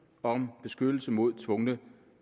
om beskyttelse mod tvungne